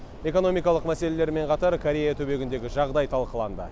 экономикалық мәселелермен қатар корея түбегіндегі жағдай талқыланды